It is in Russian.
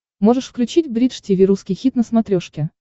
можешь включить бридж тиви русский хит на смотрешке